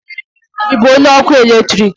Ị bụ onye ọkụ eletrik?